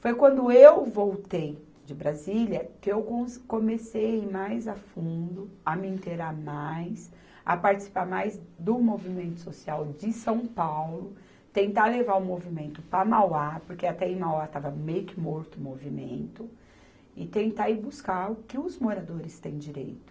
Foi quando eu voltei de Brasília que eu cons, comecei mais a fundo a me inteirar mais, a participar mais do movimento social de São Paulo, tentar levar o movimento para Mauá, porque até aí Mauá estava meio que morto o movimento, e tentar ir buscar o que os moradores têm direito.